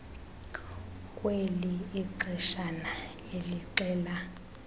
kweli ixeshana elixela